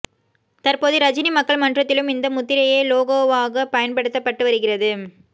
தற்போது ரஜினி மக்கள் மன்றத்திலும் இந்த முத்திரையே லோகோவாக பயன்படுத்தப்பட்டு வருகிறது